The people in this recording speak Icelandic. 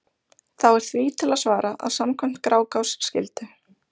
þá er því til að svara að samkvæmt grágás skyldu